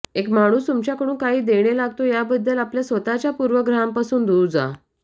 एक माणूस तुमच्याकडून काही देणे लागतो याबद्दल आपल्या स्वतःच्या पूर्वग्रहांपासून दूर जा